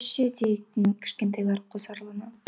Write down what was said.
біз ше дейтін кішкентайлар қосарлана